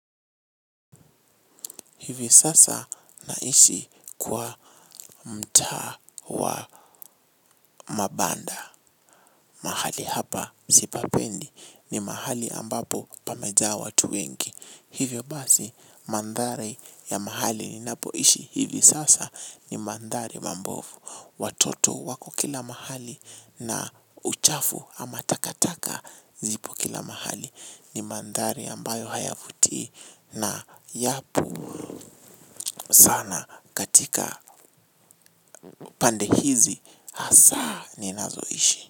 Hivi sasa naishi kwa mta wa mabanda. Mahali hapa sipapendi ni mahali ambapo pameja watu wengi. Hivyo basi mandhari ya mahali ni napoishi hivi sasa ni mandhari mambofu. Watoto wako kila mahali na uchafu ama takataka zipo kila mahali ni mandhari ambayo hayafuti na yapo sana katika pande hizi hasa ni nazoishi.